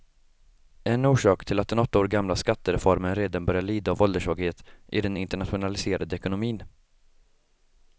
En orsak till att den åtta år gamla skattereformen redan börjar lida av ålderssvaghet är den internationaliserade ekonomin.